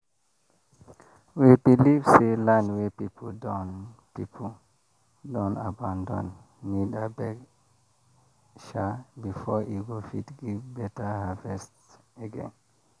we believe say land wey people don people don abandon need beg sha before e go fit give better harvest again.